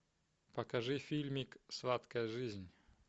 покажи фильмик сладкая жизнь